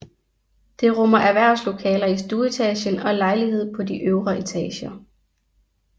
Det rummer erhvervslokaler i stueetagen og lejligheder på de øvre etager